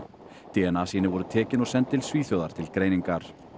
d n a sýni voru tekin og send til Svíþjóðar til greiningar